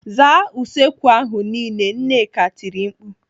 "Zaa usekwu ahụ niile!" Nneka tiri mkpu.